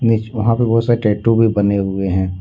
मेज वहां पे बहुत सारे टैटू भी बने हुए हैं।